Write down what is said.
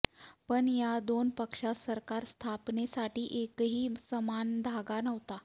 पण या दोन पक्षात सरकार स्थापनेसाठी एकही समान धागा नव्हता